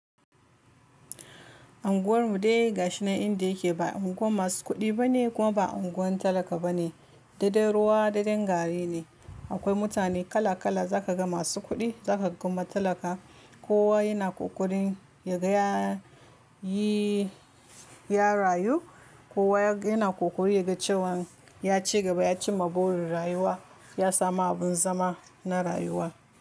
Anguwar mu dai ga shi nan inda yake ba unguwa masu kuɗi bane kuma ba unguwan talaka bane, daidai ruwa daidai gari ne. Akwai mutane kala kala za ka ga masu kuɗi za ka ga ma talaka. Kowa yana ƙoƙarin yadda ya rayu, kowa yana ƙoƙarin yadda cewan ya cigaba ya cimma burin rayuwa, ya samu abin zama na rayuwa.